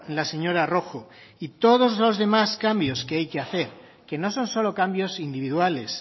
la señora rojo y todos los demás cambios que hay que hacer que no son solo cambios individuales